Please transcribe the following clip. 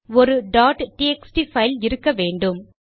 ஒரு txt file இருக்க வேண்டும்